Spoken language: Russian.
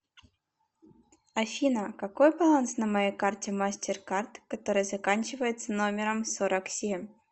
афина какой баланс на моей карте мастер кард которая заканчивается номером сорок семь